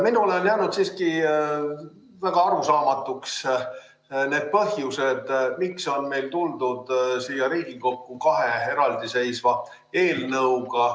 Minule on jäänud siiski väga arusaamatuks need põhjused, miks on tuldud siia Riigikokku kahe eraldi eelnõuga.